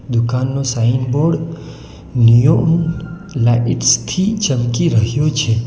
દુકાનનો sign board neon lights થી ચમકી રહ્યો છે.